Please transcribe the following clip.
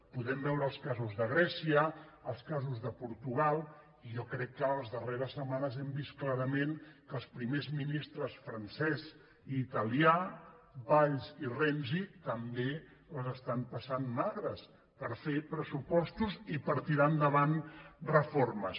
podem veure els casos de grècia els casos de portu·gal i jo crec que les darreres setmanes hem vist clara·ment que els primers ministres francès i italià valls i renzi també les estan passant magres per fer pressu·postos i per tirar endavant reformes